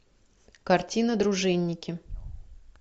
картина дружинники